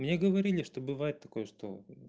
мне говорили что бывает такое что